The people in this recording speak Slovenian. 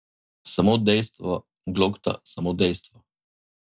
Samo dejstva, Glokta, samo dejstva.